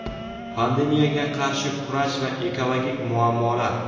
Pandemiyaga qarshi kurash va ekologik muammolar.